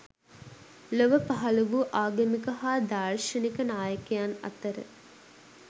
ලොව පහළ වූ ආගමික හා දාර්ශනික නායකයන් අතර